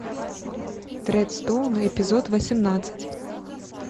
тредстоун эпизод восемнадцать